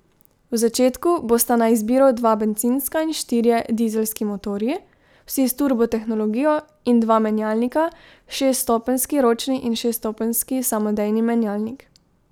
V začetku bosta na izbiro dva bencinska in štirje dizelski motorji, vsi s turbo tehnologijo in dva menjalnika, šeststopenjski ročni in šeststopenjski samodejni menjalnik.